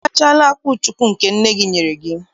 Ị rachaala akwụchukwu nke nne gị nyere gị?